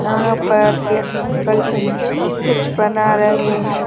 यहां पर एक अंकल जी कुछ बना रहे हैं।